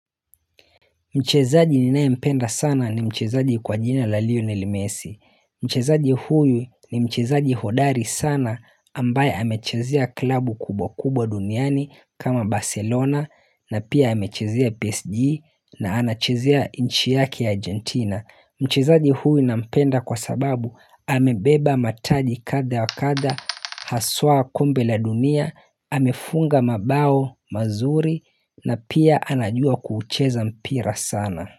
Mchezaji ninayempenda sana ni mchezaji kwa jina la leonel messi. Mchezaji huyu ni mchezaji hodari sana ambaye amechezea klabu kubwa kubwa duniani kama Barcelona na pia amechezea PSG na anachezea nchi yake ya Argentina. Mchezaji huyu nampenda kwa sababu amebeba mataji kadha wa kadha, haswa kombe la dunia, amefunga mabao, mazuri na pia anajua kuucheza mpira sana.